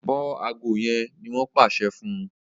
bó ago yén ní wón pàṣẹ fún